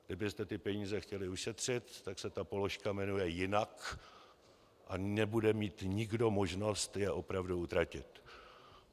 Kdybyste ty peníze chtěli ušetřit, tak se ta položka jmenuje jinak a nebude mít nikdo možnost je opravdu utratit.